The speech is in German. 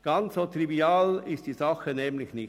Ganz so trivial ist die Sache nämlich nicht.